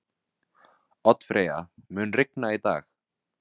Oddfreyja, mun rigna í dag?